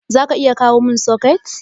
zaka iya kawomin soket?